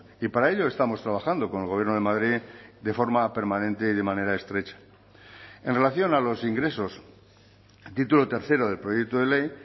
y para ello estamos trabajando con el gobierno de madrid de forma permanente y de manera estrecha en relación a los ingresos título tercero del proyecto de ley